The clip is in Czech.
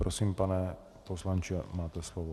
Prosím, pane poslanče, máte slovo.